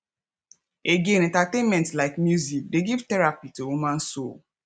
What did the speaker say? again entertainment like music dey give therapy to human soul